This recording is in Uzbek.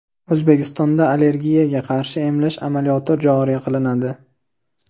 O‘zbekistonda allergiyaga qarshi emlash amaliyoti joriy qilinadi.